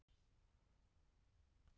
Vinnusemin og hugarfarið er með ólíkindum